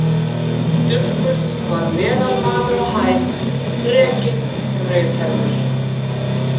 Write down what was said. Dufgus var meðalmaður á hæð, þrekinn, rauðhærður.